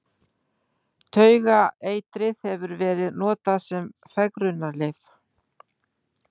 Taugaeitrið hefur verið notað sem fegrunarlyf.